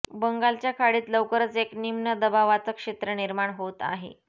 बंगालच्या खाडीत लवकरच एक निम्न दबावाचं क्षेत्र निर्माण होत आहे